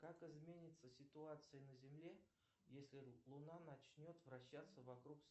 как изменится ситуация на земле если луна начнет вращаться вокруг